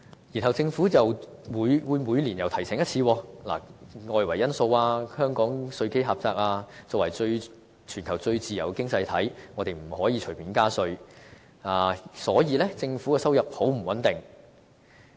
然後政府每年又會提醒一次：外圍因素、香港稅基狹窄、作為全球最自由的經濟體，香港不能隨便加稅，因此政府的收入很不穩定。